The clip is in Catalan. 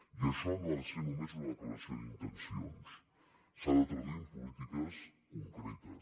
i això no ha de ser només una declaració d’intencions s’ha de traduir en polítiques concretes